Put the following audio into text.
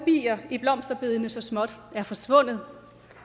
bier i blomsterbedene så småt er forsvundet